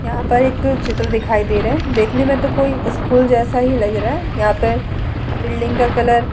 यहाँ पर एक चित्र दिखाई दे रहे है देखने में तो कोई स्कूल जैसा ही लग रहा है यहाँ पर बिल्डिंग का कलर --